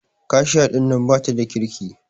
Kashiya ɗinnan bata da kirki.